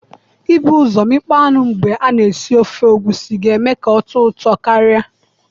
Ibu ụzọ imikpo anụ mgbe i na esi ofe egusi ga eme ka ọ tọọ ụtọ karịa